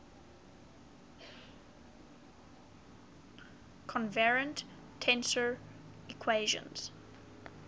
covariant tensor equations